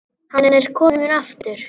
Hann er kominn aftur!